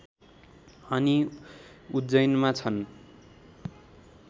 अनि उज्जैनमा छन्